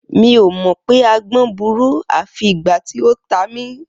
Mi ò mọ̀ pé agbọ́n burú, à fi ìgbà tí ó ta mí.